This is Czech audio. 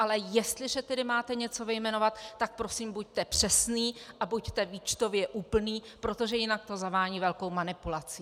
Ale jestliže tedy máte něco vyjmenovat, tak prosím buďte přesný a buďte výčtově úplný, protože jinak to zavání velkou manipulací.